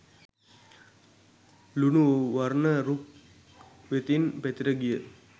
ලුණු වර්ණ රුක් වෙතින් පැතිර ගිය